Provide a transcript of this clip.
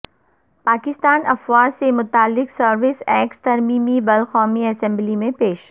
پاکستان افواج سے متعلق سروسز ایکٹس ترمیمی بل قومی اسمبلی میں پیش